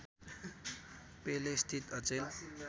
पेलेसित अचेल